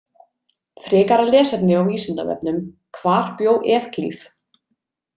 Frekara lesefni á Vísindavefnum Hvar bjó Evklíð.